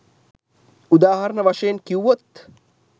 උදාහරණ වශයෙන් කිව්වොත්